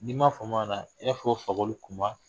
N'i m'a i b'a fɔ ko fakɔli kunba